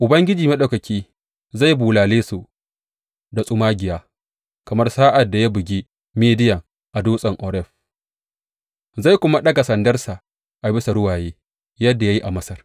Ubangiji Maɗaukaki zai bulale su da tsumagiya, kamar sa’ad da ya bugi Midiyan a dutsen Oreb; zai kuma ɗaga sandarsa a bisa ruwaye, yadda ya yi a Masar.